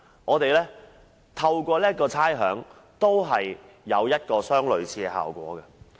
政府透過退還差餉，也達到類似的效果。